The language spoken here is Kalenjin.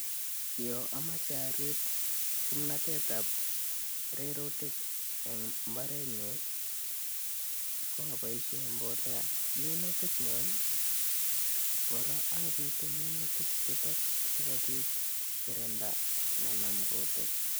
Yon amache arib kimnatet ab rurutik en mbarenyun koaboishen mbolea minutik kyuk kora abiten minutik chuto sikobit kokirinda komanam kutik.